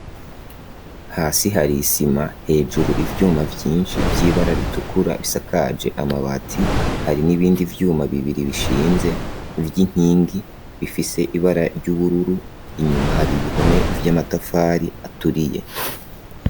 Hasi har' isima, hejuru ivyuma vyinshi vy'ibara ritukura bisakaje amabati, hari n'ibindi vyuma bibiri bishinze vy'inkingi ,bifise ibara ry'ubururu ,inyuma hari ibihome vy'amatafari aturiye.